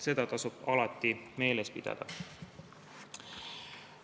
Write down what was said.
Seda tasub alati meeles pidada.